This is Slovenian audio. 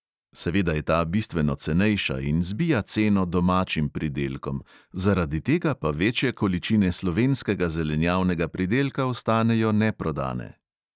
Seveda je ta bistveno cenejša in zbija ceno domačim pridelkom, zaradi tega pa večje količine slovenskega zelenjavnega pridelka ostanejo neprodane.